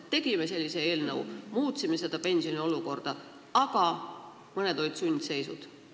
No et tegime sellise eelnõu, muutsime pensionisüsteemi, aga mõneti olime sundseisus.